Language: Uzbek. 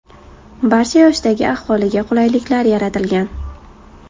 Barcha yoshdagi aholiga qulayliklar yaratilgan.